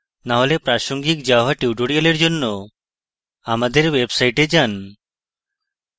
না হলে প্রাসঙ্গিক java টিউটোরিয়ালগুলির জন্য আমাদের website যান